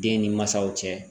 Den ni mansaw cɛ